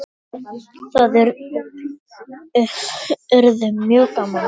Það yrði mjög gaman.